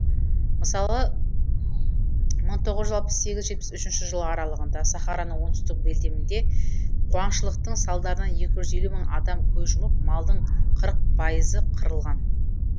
мысалы мың тоғыз жүз алпыс сегіз жетпіс үшінші жылы аралығында сахараның оңтүстік белдемінде қуаңшылықтың салдарынан екі жүз мың адам көз жұмып малдың қырық пайызы қырылған